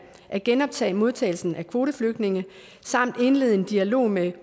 at genoptage modtagelsen af kvoteflygtninge samt indlede en dialog med